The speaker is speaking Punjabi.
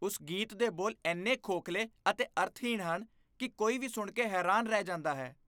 ਉਸ ਗੀਤ ਦੇ ਬੋਲ ਇੰਨੇ ਖੋਖਲੇ ਅਤੇ ਅਰਥਹੀਣ ਹਨ ਕਿ ਕੋਈ ਵੀ ਸੁਣ ਕੇ ਹੈਰਾਨ ਰਹਿ ਜਾਂਦਾ ਹੈ।